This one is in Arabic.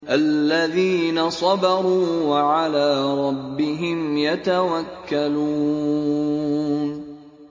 الَّذِينَ صَبَرُوا وَعَلَىٰ رَبِّهِمْ يَتَوَكَّلُونَ